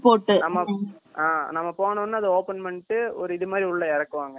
நாம போனோம்னா அதை ஓபன் பண்ணிட்டு ஒரு இது மாதிரி உள்ள இறக்குவாங்க